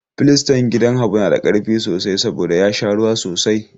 Filistan gidan Habu na da ƙarfi sosai saboda ya sha ruwa sosai.